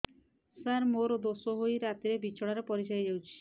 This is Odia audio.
ସାର ମୋର ଦୋଷ ହୋଇ ରାତିରେ ବିଛଣାରେ ପରିସ୍ରା ହୋଇ ଯାଉଛି